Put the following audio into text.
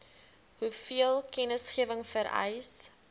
hoeveel kennisgewing vereis